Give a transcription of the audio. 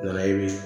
O la e bi